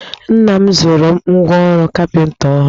Nna m zụụrụ m ngwa ọrụ kapịnta ọhụrụ